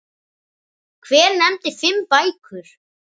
Hver nefndi fimm bækur.